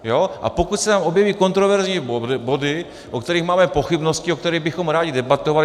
A pokud se tam objeví kontroverzní body, o kterých máme pochybnosti, o kterých bychom rádi debatovali...